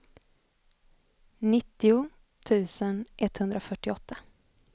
nittio tusen etthundrafyrtioåtta